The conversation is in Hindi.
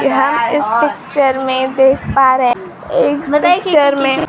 यहां इस पिक्चर में देख पा रहे इस पिक्चर में--